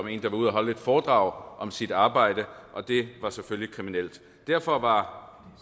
en der var ude at holde foredrag om sit arbejde og det var selvfølgelig kriminelt derfor var